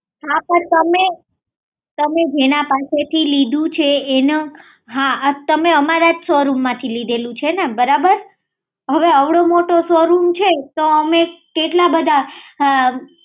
હા પણ તમે જેના પાસેથી લીધું છે તમે અમારા શોરૂમ માંથી જ લીધેલું છે ને બરોબર હવે અવડો મોટો શોરૂમ છે તો અમે કેટલા બધા